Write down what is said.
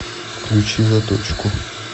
включи заточку